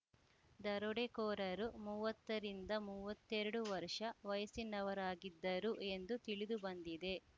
ದರೋಡೆಕೋರರು ಮುವತ್ತ ರಿಂದ ಮೂವತ್ತೆರಡು ವರ್ಷ ವಯಸ್ಸಿನವರಾಗಿದ್ದರು ಎಂದು ತಿಳಿದುಬಂದಿದೆ